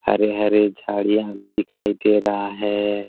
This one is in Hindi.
हरे-हरे झाड़ियां भी दिखाई दे रहा है।